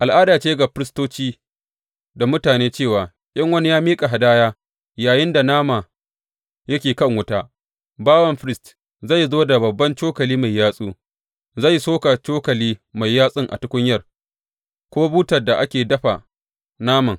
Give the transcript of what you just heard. Al’ada ce ga firistoci da mutane cewa in wani ya miƙa hadaya, yayinda nama yake kan wuta, bawan firist zai zo da babban cokali mai yatsu, zai soka cokali mai yatsun a tukunyar, ko butar da ake dafan naman.